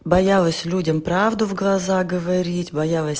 боялась людям правду в глаза говорить боялась